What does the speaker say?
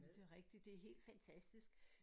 Men det rigtigt det helt fantastisk